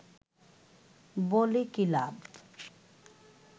বলে কি লাভ?